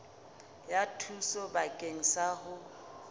ya thuso bakeng sa ho